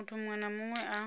muthu muṅwe na muṅwe a